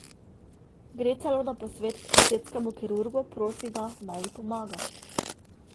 Gre celo na posvet k estetskemu kirurgu, prosi ga, naj ji pomaga.